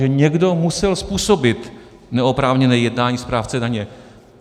Že někdo musel způsobit neoprávněné jednání správce daně?